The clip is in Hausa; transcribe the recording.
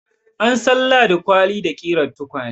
An san Ladi kwali da ƙirar tukwane.